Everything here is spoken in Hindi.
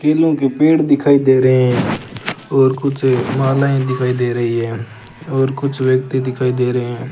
केलों के पेड़ दिखाई दे रहे हैं और कुछ मालायें दिखाई दे रही है और कुछ व्यक्ति दिखाई दे रहे हैं।